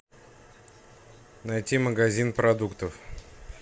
найти магазин продуктов